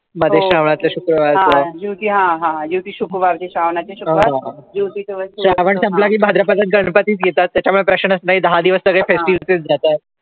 श्रावण संपला कि भाद्रपदात गणपती च येतात त्यामुळे प्रश्नच नाही दहा दिवस सगळे